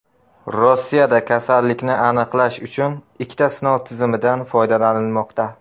Rossiyada kasallikni aniqlash uchun ikkita sinov tizimidan foydalanilmoqda.